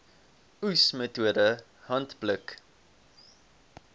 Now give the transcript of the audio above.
oes metode handpluk